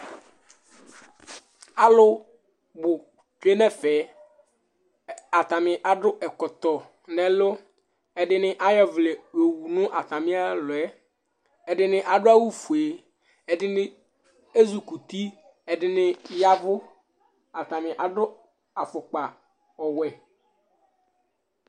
Alʋ bʋ tsue nʋ ɛfɛ Atanɩ adʋ ɛkɔtɔ nʋ ɛlʋ Ɛdɩnɩ ayɔ ɔvlɛ yɔwu nʋ atamɩ ɛlʋ yɛ Ɛdɩnɩ adʋ awʋfue Ɛdɩnɩ ezikuti Ɛdɩnɩ ya ɛvʋ Atanɩ adʋ afʋkpa ɔwɛ